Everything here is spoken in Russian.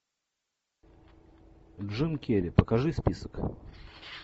джим керри покажи список